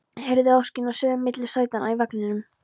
Heyri óskina suða milli sætanna í vagninum